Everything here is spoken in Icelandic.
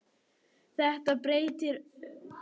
Þetta breytti öllu.